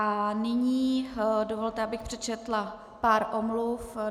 A nyní dovolte, abych přečetla pár omluv.